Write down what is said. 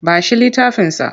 Ba shi littafinsa!